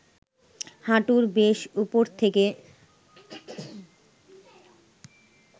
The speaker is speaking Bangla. হাঁটুর বেশ উপর থেকে